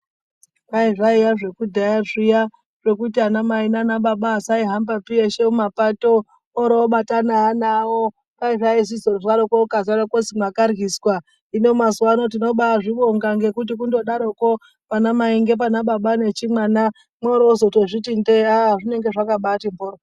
Kwai zvaiva zvekudhaya zviya zvekuti anamai nababa vasaihambapi veshe mumapato, oro obatana neana kwai zvaizi ukarwara awo kozi mwakaryiswa. Hino mazuwano tinobazvibonga ngekuti kundodaroko pana mai ngepane baba nechimwana mworo wozotozviti ndee haaa zvinenge zvakabati mhoryo.